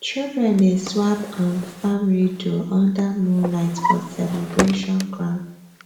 children dey swap um farm riddle under moonlight for celebration ground